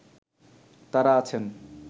তারা আছেন